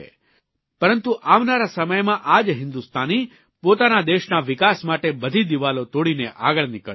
પરંતુ આવનારા સમયમાં આ જ હિંદુસ્તાની પોતાના દેશના વિકાસ માટે બધી દિવાલો તોડીને આગળ નીકળશે